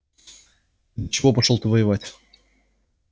чего пошёл ты воевать